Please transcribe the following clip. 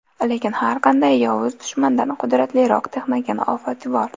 Lekin har qanday yovuz dushmandan qudratliroq texnogen ofat bor.